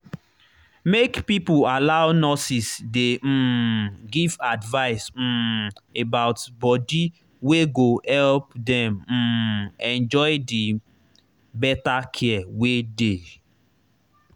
make people allow nurses dey um give advice um about body wey go help dem um enjoy the better care wey dey.